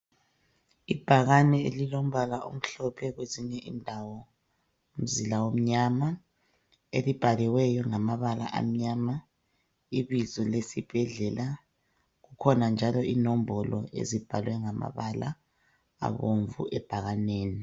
Ibhakani elilombala omhlophe kwezinye indawo umzila omnyama elibhaliweyo ngamabala amnyama ibizo lesibhedlela. Kukhona njalo inombolo ezibhalwe ngamabala abomvu ebhakaneni.